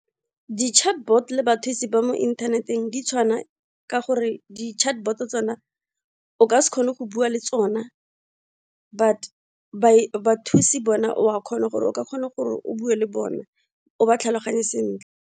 Di-chatbot le bathusi ba mo inthaneteng ditshwana ka gore di chatbot tsona o ka se kgone go bua le tsona, but bathusi bona o ka kgona gore o bue le bona o ba tlhaloganye sentle.